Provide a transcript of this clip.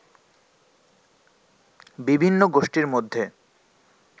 বিভিন্ন গোষ্ঠীর মধ্যে